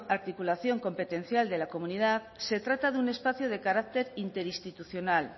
articulación competencial de la comunidad se trata de un espacio de carácter interinstitucional